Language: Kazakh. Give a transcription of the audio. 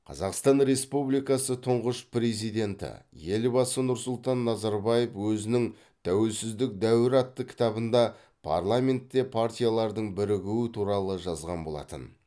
қазақстан республикасы тұңғыш президенті елбасы нұрсұлтан назарбаев өзінің тәуелсіздік дәуірі атты кітабында парламентте партиялардың бірігуі туралы жазған болатын